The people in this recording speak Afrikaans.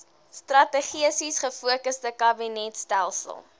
strategies gefokusde kabinetstelsel